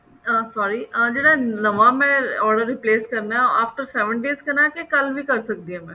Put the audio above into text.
ਅਮ sorry ਨਵਾਂ ਮੈਂ order replace ਕਰਨਾ after seven days ਕਰਨਾ ਕਿ ਕੱਲ ਵੀ ਕਰ ਸਕਦੀ ਹਾਂ ਮੈਂ